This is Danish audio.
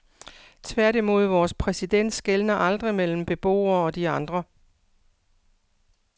Tværtimod, vores præsident skelner aldrig mellem beboerne og de andre.